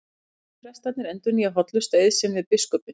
Allir prestarnir endurnýja hollustueið sinn við biskupinn.